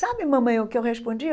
Sabe, mamãe, o que eu respondi?